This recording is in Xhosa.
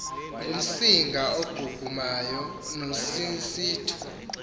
ngumsinga ogugumay nosisitshu